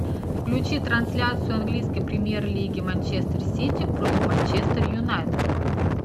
включи трансляцию английской премьер лиги манчестер сити против манчестер юнайтед